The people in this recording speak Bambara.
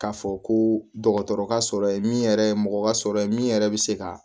K'a fɔ ko dɔgɔtɔrɔ ka sɔrɔ ye min yɛrɛ ye mɔgɔ ka sɔrɔ ye min yɛrɛ bɛ se ka